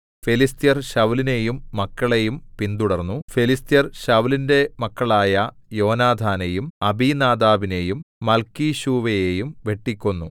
ഫെലിസ്ത്യർ ശൌലിനെയും മക്കളെയും പിന്തുടർന്നു ഫെലിസ്ത്യർ ശൌലിന്റെ മക്കളായ യോനാഥാനെയും അബീനാദാബിനെയും മല്‍ക്കീശൂവയെയും വെട്ടിക്കൊന്നു